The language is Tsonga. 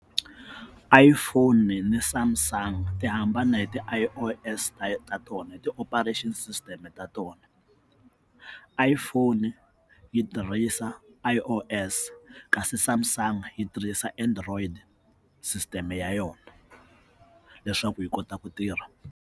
iPhone na Samsung ti hambane hi ti i o s ta tona ti operation system ta tona iPhone yi tirhisa i o s kasi samsung yi tirhisa android sisiteme ya yona leswaku yi kota ku tirha.